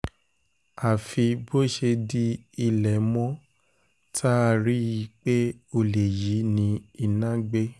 àfi bó ṣe di ilé mọ́ tá a rí i pé olè yìí ni iná gbé